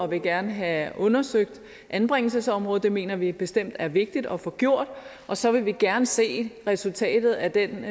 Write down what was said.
vil gerne have undersøgt anbringelsesområdet det mener vi bestemt er vigtigt at få gjort og så vil vi gerne se resultatet af den